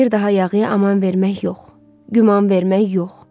Bir daha yağıya aman vermək yox, güman vermək yox.